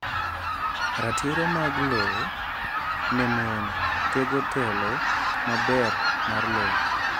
Ratiro mag lowo ne mon tego telo maber mar lowo.